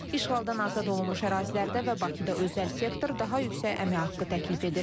İşğaldan azad olunmuş ərazilərdə və Bakıda özəl sektor daha yüksək əmək haqqı təklif edir.